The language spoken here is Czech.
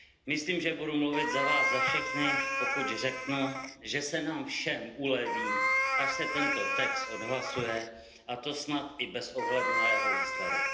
Myslím, že budu mluvit za vás za všechny, pokud řeknu, že se nám všem uleví, až se tento text odhlasuje, a to snad i bez ohledu na jeho výsledek.